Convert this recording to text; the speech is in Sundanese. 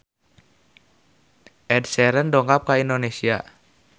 Ed Sheeran dongkap ka Indonesia